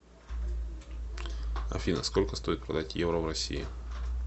афина сколько стоит продать евро в россии